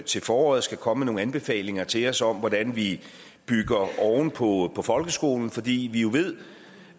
til foråret skal komme med nogle anbefalinger til os om hvordan vi bygger oven på folkeskolen fordi vi jo ved